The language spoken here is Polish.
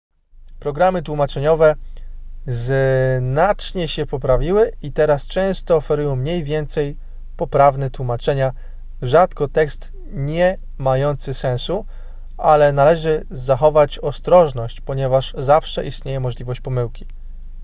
programy tłumaczeniowe znacznie się poprawiły i teraz często oferują mniej więcej poprawne tłumaczenia rzadko tekst nie mający sensu ale należy zachować ostrożność ponieważ zawsze istnieje możliwość pomyłki